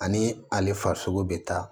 Ani ale farisogo be taa